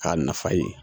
K'a nafa ye